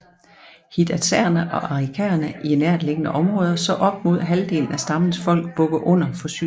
Hidatsaerne og arikaraerne i nærtliggende områder så op mod halvdelen af stammens folk bukke under for sygdommen